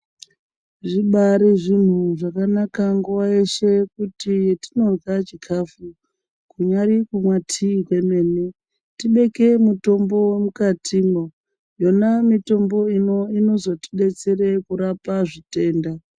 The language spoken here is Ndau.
Zvibari zvinhu zvakanaka nguwa yeshe kuti petinorya zvikafu kunyari kumwa tii kwemene tibeke mitombo mukatimwo yona mitombo inozotidetsera kurapa zvitenda.